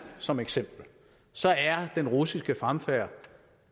som eksempel så er den russiske fremfærd